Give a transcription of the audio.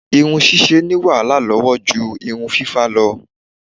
Irun ṣíṣe ní wàhálà lọ́wọ́ ju irun fífá lọ.